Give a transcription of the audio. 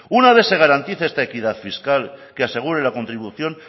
una vez se garantice esta equidad fiscal que aseguren la contribución